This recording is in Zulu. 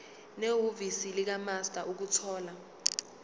nehhovisi likamaster ukuthola